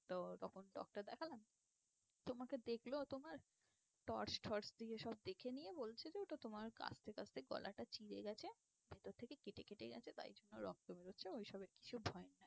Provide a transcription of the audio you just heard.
তো তখন doctor দেখালাম, তো আমাকে দেখলো তোমার torch ঠর্চ দিয়ে সব দেখে নিয়ে বলছে, যে ওটা তোমার কাশতে কাশতে গলাটা চিড়ে গিয়েছে, ভিতর থেকে কেটে কেটে গিয়েছে, তাই জন্য রক্ত বেরোচ্ছে, ওইসবে কিছু ভয়ের না।